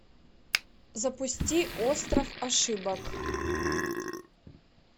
запусти остров ошибок